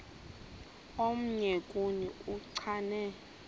omnye kuni uchane